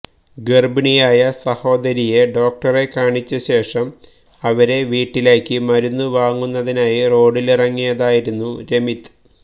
ഗര്ഭിണിയായ സഹോദരിയെ ഡോക്ടറെ കാണിച്ചശേഷം അവരെ വീട്ടിലാക്കി മരുന്ന് വാങ്ങുന്നതിനായി റോഡിലിറങ്ങിയതായിരുന്നു രമിത്